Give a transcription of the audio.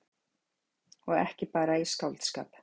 Og ekki bara í skáldskap.